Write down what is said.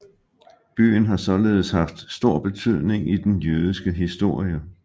Byen har således haft stor betydning i den jødiske historie